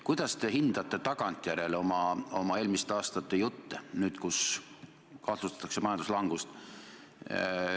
Kuidas te hindate tagantjärele oma eelmiste aastate juttu nüüd, kus kardetakse majanduslangust?